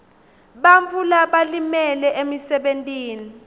bantfu labalimele emsebentini